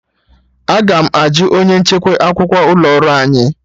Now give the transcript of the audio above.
Aga m ajụ onye nchekwa akwụkwọ ụlọ ọrụ anyị